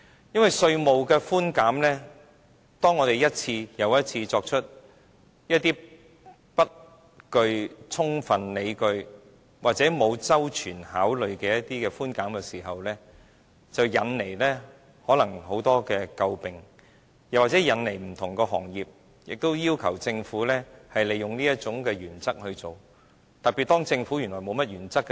因為稅務的寬減，當我們一次又一次作出一些不具充分理據或沒有周全考慮的寬減時，引來很多詬病，或引來不同行業要求政府，利用這種原則去做，結果會很嚴重，特別當政府原來沒甚麼原則時。